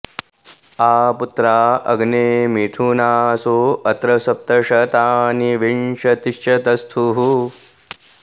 आ पु॒त्रा अ॑ग्ने मिथु॒नासो॒ अत्र॑ स॒प्त श॒तानि॑ विंश॒तिश्च॑ तस्थुः